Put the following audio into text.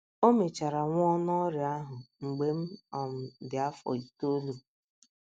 O mechara nwụọ n’ọrịa ahụ mgbe m um dị afọ itoolu.